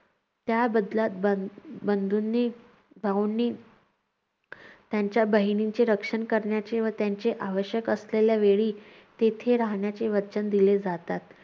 त्याबदल्यात बंध बंधूंनी भाऊंनी त्यांच्या बहिणींचे रक्षण त्यांच्या बहिणींचे रक्षण करण्याची व त्यांची आवश्यक असलेल्या वेळी तेथे राहण्याची वचन दिले जातात.